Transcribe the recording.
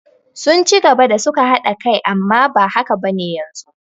Sun ci gaba da suka haɗa kai amma ba haka bane yanzu